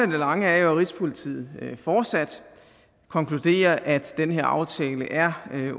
lange er jo at rigspolitiet fortsat konkluderer at den her aftale er